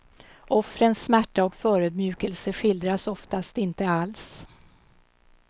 Offrens smärta och förödmjukelse skildras oftast inte alls.